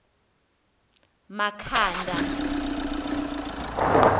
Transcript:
makhanda